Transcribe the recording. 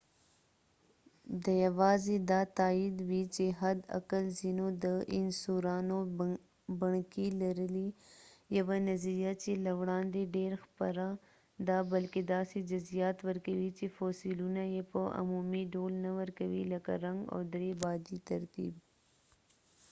دا یواځې دا تائیدوي چې حد اقل ځینو داینوسورانو بڼکې لرلې یوه نظریه چې له وړاندې ډیره خپره ده بلکې داسې جزئیات ورکوي چې فوسیلونه یې په عمومي ډول نه ورکوي لکه رنګ او درې بعدي ترتیب